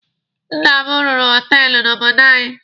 Nna m rụrụ họtelụ n'obodo anyị.